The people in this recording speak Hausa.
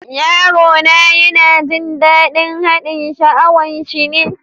Yaro na yana jin dadin haɗin sha'awan shi ne.